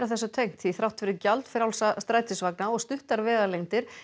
þrátt fyrir gjaldfrjálsa strætisvagna og stuttar vegalengdir